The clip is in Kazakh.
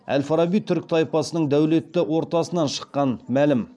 әл фараби түрік тайпасының дәулетті ортасынан шыққан мәлім